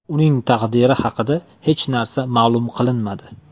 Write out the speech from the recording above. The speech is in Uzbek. Uning taqdiri haqida hech narsa ma’lum qilinmadi.